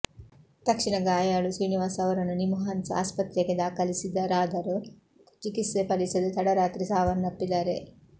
ತಕ್ಷಣ ಗಾಯಾಳು ಶ್ರೀನಿವಾಸ್ ಅವರನ್ನು ನಿಮ್ಹಾನ್ಸ್ ಆಸ್ಪತ್ರೆಗೆ ದಾಖಲಿಸಿದರಾದರೂ ಚಿಕಿತ್ಸೆ ಫಲಿಸದೆ ತಡರಾತ್ರಿ ಸಾವನ್ನಪ್ಪಿದ್ದಾರೆ